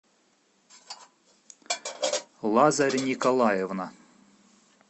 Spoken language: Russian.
лазарь николаевна